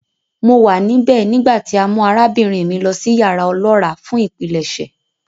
Mo wa nibẹ nigbati a mu arabinrin mi lọ si yara ọlọra fun ipilẹṣẹ.